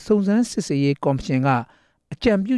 စုံစမ်းစစ်ဆေးရေးကော်မရှင်က အကြံပြု